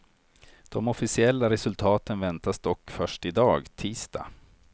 De officiella resultaten väntas dock först i dag, tisdag.